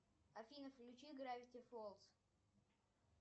афина включи гравити фолз